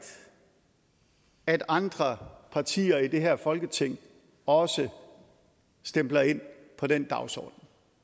at andre partier i det her folketing også stempler ind på den dagsorden